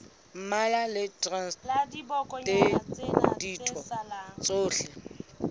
mmalwa le traste ditho tsohle